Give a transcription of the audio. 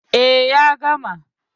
E, ya gama.